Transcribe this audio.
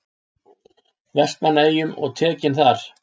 Vestmannaeyjum og tekinn þar.